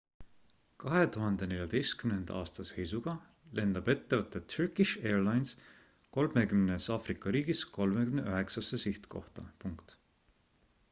2014 aasta seisuga lendab ettevõte turkish airlines 30 aafrika riigis 39 sihtkohta